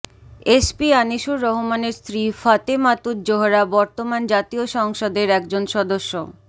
SP Anisur রহমানের স্ত্রী ফাতেমাতুজ জোহরা বর্তমান জাতীয় সংসদের একজন সদস্য